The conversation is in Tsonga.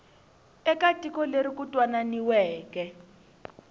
eka tiko leri ku twananiweke